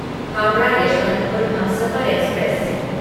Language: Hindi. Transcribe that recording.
हावड़ा यशवंतपुर हमसफर एक्सप्रेस